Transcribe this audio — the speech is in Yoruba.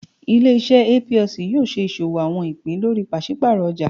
Ile-iṣẹ Aa Plc yoo ṣe iṣowo àwọn ìpín lórí paṣipaarọ ọjà.